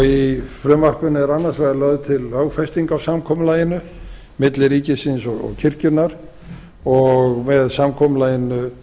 í frumvarpinu er annars vegar lögð til lögfesting á samkomulaginu milli ríkisins og kirkjunnar og með samkomulaginu